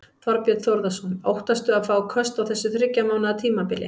Þorbjörn Þórðarson: Óttastu að fá köst á þessu þriggja mánaða tímabili?